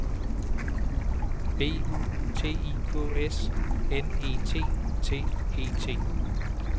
B U T I K S N E T T E T